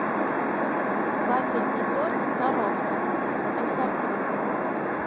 вафельный торт коровка ассорти